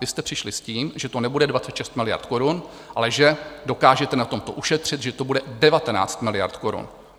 Vy jste přišli s tím, že to nebude 26 miliard korun, ale že dokážete na tomto ušetřit, že to bude 19 miliard korun.